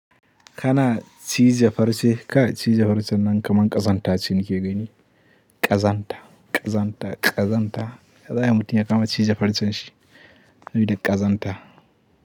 Kana cije farce, kai cije farcen nan kaman ƙazanta ce nike gani. Ƙazanta, ƙazanta, ƙazanta. Ya zayi mutun ya kama cije farcen shi, sabi da ƙazanta.